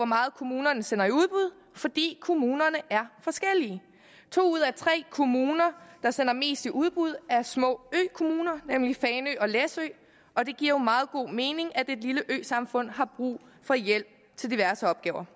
meget kommunerne sender i udbud fordi kommunerne er forskellige to ud af tre kommuner der sender mest i udbud er små økommuner nemlig fanø og læsø og det giver jo meget god mening at et lille øsamfund har brug for hjælp til diverse opgaver